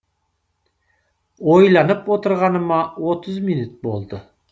ойланып отырғаныма отыз минут болды